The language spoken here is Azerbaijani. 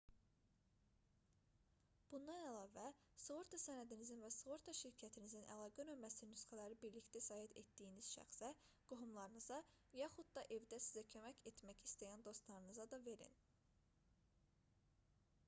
bundan əlavə sığorta sənədinizin və sığorta şirkətinizin əlaqə nömrəsinin nüsxələrini birlikdə səyahət etdiyiniz şəxsə qohumlarınıza yaxud da evdə sizə kömək etmək istəyən dostlarınıza da verin